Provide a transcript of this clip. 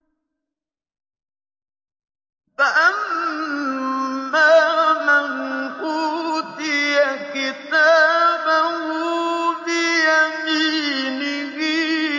فَأَمَّا مَنْ أُوتِيَ كِتَابَهُ بِيَمِينِهِ